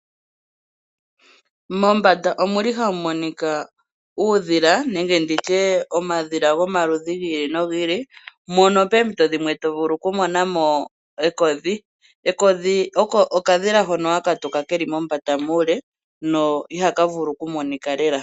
Mombanda ohamu monika uudhila nenge omadhila gomaludhi gi ili nogi ili. Moompito dhimwe oto vulu okumona mo ekodhi. Ekodhi okadhila hoka haka tuka mombanda muule no ihaka vulu okumonika lela.